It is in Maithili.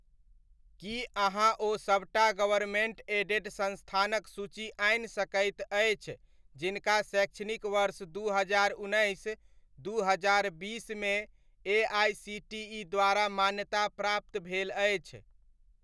की अहाँ ओ सबटा गवर्नमेन्ट एडेड संस्थानक सूची आनि सकैत अछि जिनका शैक्षणिक वर्ष दू हजार उन्नैस, दू हजार बीसमे एआइसीटीइ द्वारा मान्यताप्राप्त भेल अछि?